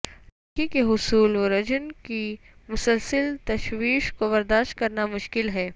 لڑکی کے حصول ورجن کی مسلسل تشویش کو برداشت کرنا مشکل ہے